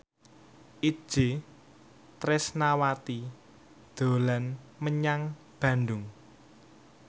Itje Tresnawati dolan menyang Bandung